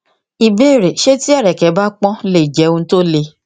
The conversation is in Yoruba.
ìbéèrè ṣé tí ẹrẹkẹ bá pọn lè jẹ ohun tó le